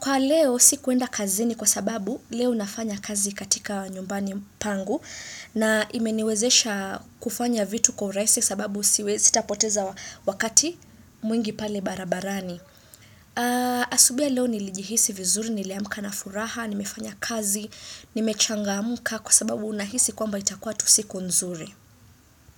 Kwa leo si kuenda kazini kwa sababu leo nafanya kazi katika nyumbani pangu na imeniwezesha kufanya vitu kwa urahisi kwa sababu sitapoteza wakati mwingi pale barabarani Asubuhi ya leo nilijihisi vizuri, niliamka na furaha, nimefanya kazi, nimechangamka Kwa sababu unahisi kwamba itakua tusiku nzuri.